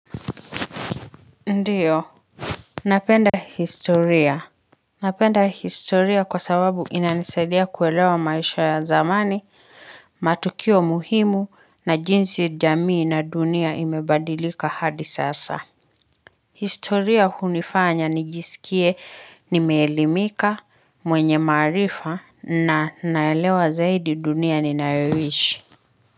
Ndiyo napenda historia, napenda historia kwa sababu inanisaidia kuelewa maisha ya zamani matukio muhimu na jinsi jamii na dunia imebadilika hadi sasa historia hunifanya nijisikie nimeelimika mwenye maarifa na naelewa zaidi dunia ninaewish.